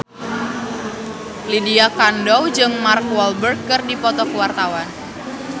Lydia Kandou jeung Mark Walberg keur dipoto ku wartawan